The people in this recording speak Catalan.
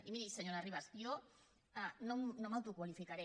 i miri senyora ribas jo no m’autoqualificaré